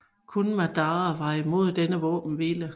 Kun Madara var imod denne våbenhvile